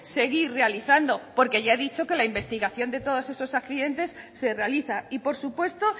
seguir realizando porque ya he dicho que la investigación de todos esos accidentes se realiza y por supuesto